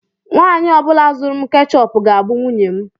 Nwanyị ọ bụla zụrụ m keechup ga-abụ nwunye m.